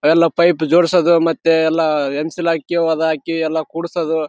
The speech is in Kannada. ನಾವು ಕೆಲಸ ಮಾಡಿಲ್ಲ ಅಂದ್ರ ನೋಡ್ತೀನಿ ಹೋಗಿಸೇಂದ್ರ ಅಲ್ಲಿ ಹೋಗಿ ಪೈಪ ಜೋಡ್ಸದು ಅವೆಲ್ಲ ನೋಡ್ಗೆಸಿಂದ.